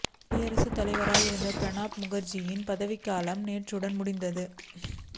குடியரசுத் தலைவராக இருந்த பிரணாப் முகர்ஜியின் பதவிக்காலம் நேற்றுடன் முடிந்தது